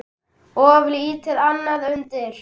Of lítið annað undir.